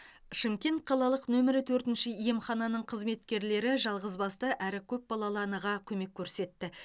шымкент қалалық нөмірі төртінші емхананың қызметкерлері жалғызбасты әрі көпбалалы анаға көмек көрсетті